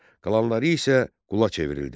Qalanları isə qula çevrildi.